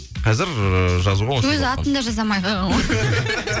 қазір жазуға өз атын да жаза алмай қалған ғой